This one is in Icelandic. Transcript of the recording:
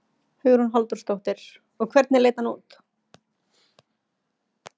Hugrún Halldórsdóttir: Og hvernig leit hann út?